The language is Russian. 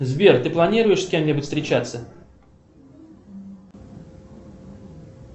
сбер ты планируешь с кем нибудь встречаться